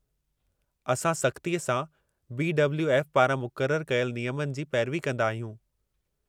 असां सख़्तीअ सां बी.डब्लू.एफ. पारां मुक़ररु कयल नियमनि जी पैरवी कंदा आहियूं।